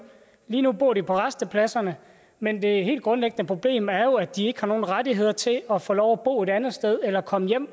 lige nu bor de på rastepladserne men det helt grundlæggende problem er jo at de ikke har nogen rettigheder til at få lov at bo et andet sted eller komme hjem